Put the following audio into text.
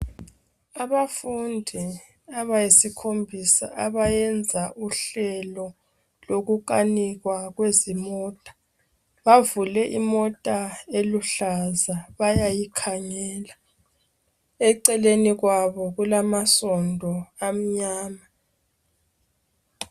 Abafundi abayisikhombisa abenza uhlelo lokukanikwa kwezimota . Bavule imota eluhlaza bayayikangela. Eceleni kwabo kulamansondo amnyama.